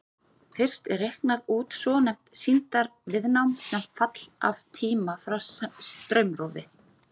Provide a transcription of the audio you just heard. Fyrst er reiknað út svonefnt sýndarviðnám sem fall af tíma frá straumrofi.